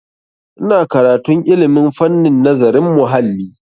Ina karantun ilmin fannin nazarin muhalli.